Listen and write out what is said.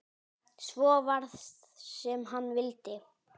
Svo varð sem hann vildi.